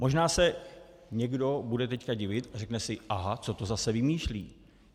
Možná se někdo bude teď divit a řekne si aha, co to zase vymýšlí.